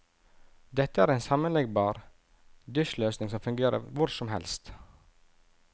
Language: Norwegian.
Dette er en sammenleggbar dusjløsning som fungerer hvor som helst.